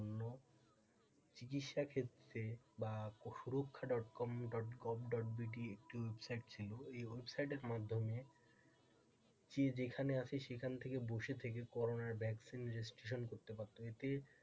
চিকিৎসা ক্ষেত্রে বা suraksha. com. gov. but একটি ওয়েবসাইট ছিল এই ওয়েবসাইটের মাধ্যমে যে যেখানে আছে সেখান থেকে বসে থেকে করোনা ভ্যাকসিন এর জন্য রেজিস্ট্রেশন করাতে পারতো এতে,